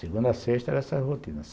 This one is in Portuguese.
Segunda, sexta era essa rotina.